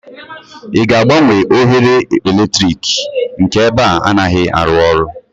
ị ga-agbanwe oghere eletrik? nke ebe a anaghị arụ ọrụ